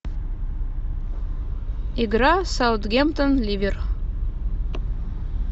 игра саутгемптон ливер